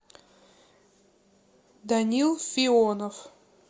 данил фионов